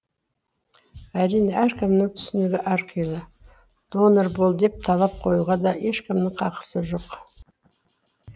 әрине әркімнің түсінігі әрқилы донор бол деп талап қоюға да ешкімнің хақысы жоқ